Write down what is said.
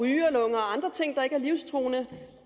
andre ting der ikke er livstruende